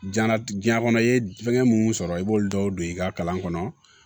Diɲɛnatigɛ diɲɛ kɔnɔ i ye fɛnkɛ minnu sɔrɔ i b'olu dɔw don i ka kalan kɔnɔ